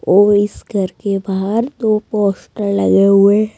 और इस घर के बाहर दो पोस्टर लगे हुए --